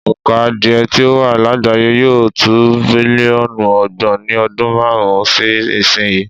Òǹkà adìẹ tí ó wà lágbàáyé yóò to bílíọ̀nù ọgbọ̀n ní ọdún márùn-ún sí ìsìnyí.